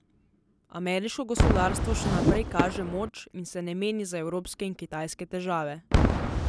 Ameriško gospodarstvo še naprej kaže moč in se ne meni za evropske in kitajske težave.